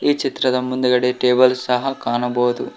ಈ ಚಿತ್ರದ ಮುಂದ್ಗಡೆ ಟೇಬಲ್ ಸಹ ಕಾಣಬಹುದು.